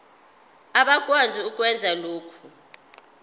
abakwazi ukwenza lokhu